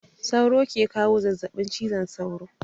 Sauro ke kawo zazzabin cizon sauro.